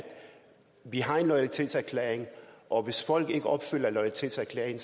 vi har en loyalitetserklæring og hvis folk ikke opfylder loyalitetserklæringen